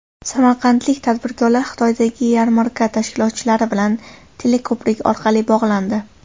Samarqandlik tadbirkorlar Xitoydagi yarmarka tashkilotchilari bilan teleko‘prik orqali bog‘landi.